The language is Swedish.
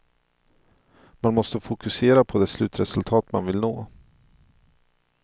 Man måste fokusera på det slutresultat man vill nå.